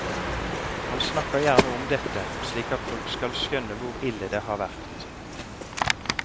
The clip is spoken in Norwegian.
Han snakker gjerne om dette, slik at folk skal skjønne hvor ille det har vært.